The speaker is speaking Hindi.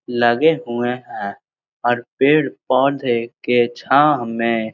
लगे हुए हैं और पेड़-पौधे के छाह में --